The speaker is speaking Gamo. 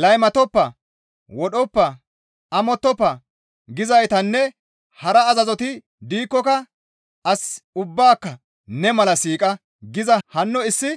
«Laymatoppa; wodhoppa; amottofa» gizaytinne hara azazoti diikkoka, «As ubbaaka ne mala siiqa» giza hanno issi